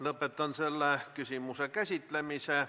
Lõpetan selle küsimuse käsitlemise.